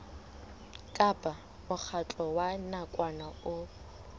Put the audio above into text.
kapa mokgatlo wa nakwana o